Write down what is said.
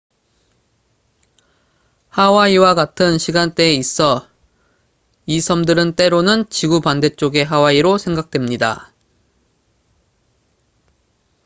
"하와이와 같은 시간대에 있어 이 섬들은 때로는 "지구 반대쪽의 하와이""로 생각됩니다.